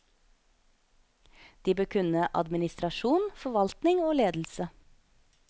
De bør kunne administrasjon, forvaltning og ledelse.